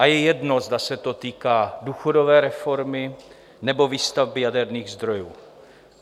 A je jedno, zda se to týká důchodové reformy, nebo výstavby jaderných zdrojů.